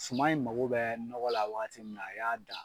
Suma in mako bɛ nɔgɔ la waati minna a y'a da